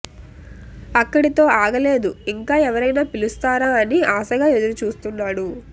అక్కడితో ఆగలేదు ఇంకా ఎవరైనా పిలుస్తారా అని ఆశగా ఎదురు చూస్తున్నాడు